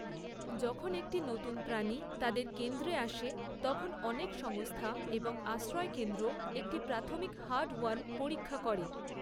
যখন একটি নতুন প্রাণী তাদের কেন্দ্রে আসে তখন অনেক সংস্থা এবং আশ্রয়কেন্দ্র একটি প্রাথমিক হার্টওয়ার্ম পরীক্ষা করে।